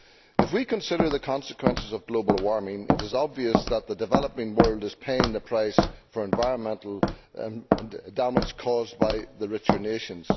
If we consider the consequences of global warming, it is obvious that the developing world is paying the price for environmental damage caused by the richer nations.